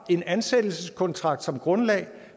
en ansættelseskontrakt som grundlag